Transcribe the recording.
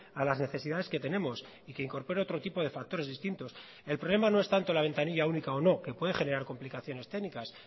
a las necesidades que tenemos y que incorpore otro tipo de factores distintos el problema no es tanto la ventanilla única o no que puede generar complicaciones técnicas